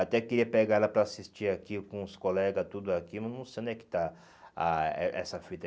Até queria pegar ela para assistir aqui com os colegas, tudo aqui, mas não sei onde é que está a a essa fita.